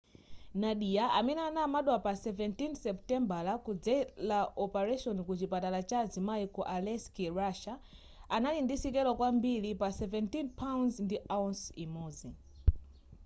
nadia amene anabadwa pa 17 supitembala kudzela opaleshoni ku chipatala cha azimai ku aleisk russia anali ndi sikelo kwambiri pa 17 pounds ndi ounce imodzi